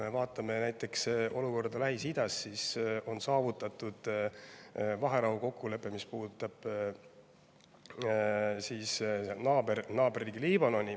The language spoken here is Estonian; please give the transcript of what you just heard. Näiteks Lähis-Ida olukorra puhul on saavutatud vaherahukokkulepe, mis puudutab naaberriiki Liibanoni.